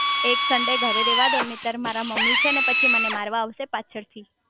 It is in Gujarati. એક સન્ડે ઘરે રેવા દો નૈતેર મારા મમ્મી છે ને પછી મને મારવા આવશે પાછળ થી